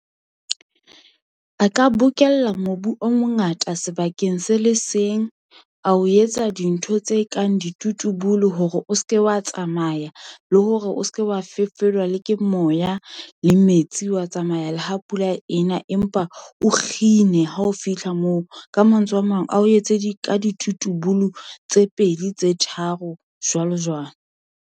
A ka bokella mobu o mongata sebakeng se le seng, ao etsa dintho tse kang ditutubulu hore o se ke wa tsamaya. Le hore o se ke wa fefolwa le ke moya le metsi wa tsamaya le ha pula e na. Empa o kgine ha o fitlha moo, ka mantswe a mang ao etse ditutubulu tse pedi, tse tharo jwalo-jwalo.